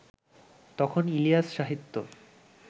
তখন ইলিয়াস-সাহিত্য